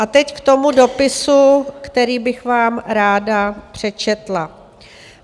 A teď k tomu dopisu, který bych vám ráda přečetla: